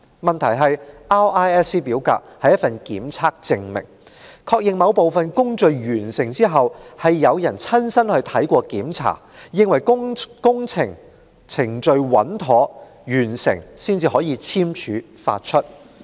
問題是 RISC 表格是一份檢測證明，確認在某部分工序完成後，有人親身到場視察並檢查，證實工程程序穩妥完成，才可簽署發出。